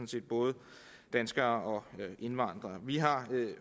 set både danskere og indvandrere vi har